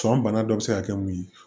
Cɔn bana dɔ bɛ se ka kɛ mun ye